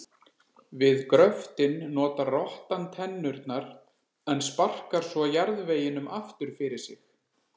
Við gröftinn notar rottan tennurnar en sparkar svo jarðveginum aftur fyrir sig.